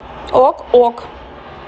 ок ок